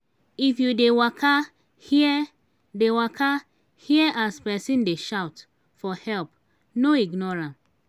if you dey waka hear dey waka hear as pesin dey shout for help no ignore am.